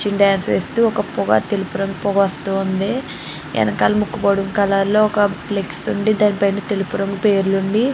ఒక డాన్స్ వేస్తూ ఒక రంగు తెలుపు రంగు పొగ వస్తుంది. వెనకాల ముకు పొడి కలర్ ఒక ఫ్లెక్స్ ఉండి దాని పైన తెలుపు రంగు పేర్లు ఉంది.